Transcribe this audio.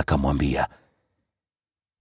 akamwambia,